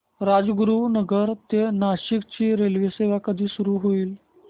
राजगुरूनगर ते नाशिक ची रेल्वेसेवा कधी सुरू होईल